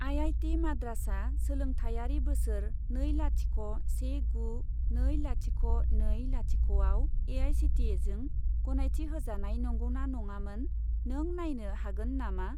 IIT. माद्रासआ सोलोंथायारि बोसोर नै लाथिख' से गु नै लाथिख' नै लाथिख' आव ए.आइ.सि.टि.इ.जों गनायथि होजानाय नंगौना नङामोन, नों नायनो हागोन नामा?